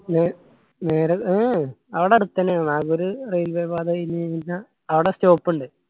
നേ നേരെ അവടെ അടുത്തെന്നേ ആണ്. നാഗൂർ railway പാത കയ്യിന് കയിഞ്ഞ ആട stop ഇണ്ട്.